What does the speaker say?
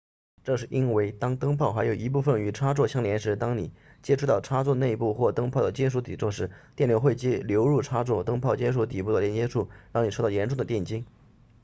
这是因为当灯泡还有一部分与插座相连时当你接触到插座内部或灯泡的金属底座时电流会流入插座灯泡金属底座的连接处让你受到严重的电击